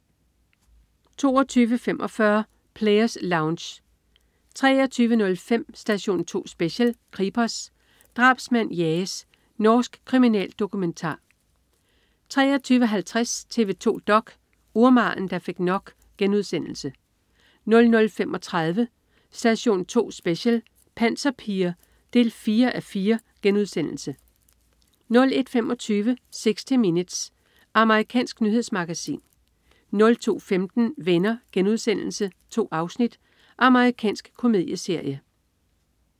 22.45 Players Lounge 23.05 Station 2 Special: Kripos. Drabsmand jages. Norsk kriminaldokumentar 23.50 TV 2 dok: Urmageren, der fik nok* 00.35 Station 2 Special: Panserpiger 4:4* 01.25 60 Minutes. Amerikansk nyhedsmagasin 02.15 Venner.* 2 afsnit. Amerikansk komedieserie